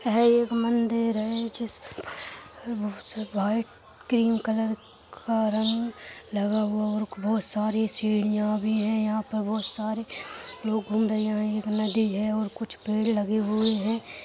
है एक मंदिर है जिसके बहुत से वाइट क्रीम कलर का रंग लगा हुआ और बहुत सारी सीढ़ियाँ भी हैं यहाँ पर बहुत सारे लोग घूम रहे हैं यहाँ एक नदी है और कुछ पेड़ लगे हुए हैं।